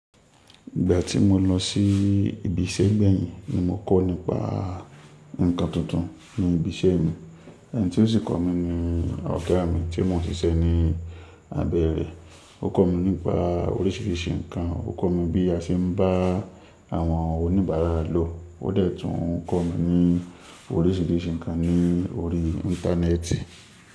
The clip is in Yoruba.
Ìgbà tí mo lọ sí ibi iṣẹ́ gbẹ̀yìn ni mo kọ́ nípa ǹkan tuntun ní ibi iṣẹ́ mi. Ẹni tí ó sì kọ́ mi ni ọ̀gá mi tí mò ń ṣiṣẹ́ ní abẹ́ rẹ̀. Ó kọ́ mi nípa oríṣìíríṣìí ǹkan, ó kọ́ mi bí a ṣe ń bá àwọn oníbàárà lò, ó dẹ̀ tún kọ́ mi ní oríṣìíríṣìí ǹkan ní orí íńtánẹ́ẹ̀tì.